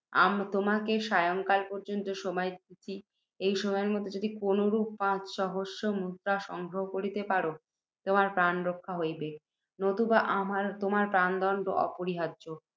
তোমাকে সায়ংকাল পর্য্যন্ত সময় দিতেছি, এই সময়ের মধ্যে যদি কোনও রূপে, পাঁচ সহস্র মুদ্রা সংগ্রহ করিতে পার, তোমার প্রাণ রক্ষণ হইবেক, নতুবা তোমার প্রাণদণ্ড অপরিহার্য্য।